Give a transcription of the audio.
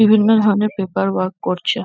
বিভিন্ন ধরণের paper work করছে ।